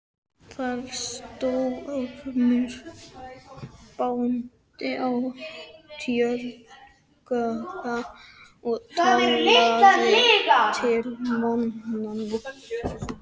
Þar sté Ormur bóndi á tjörukagga og talaði til mannanna.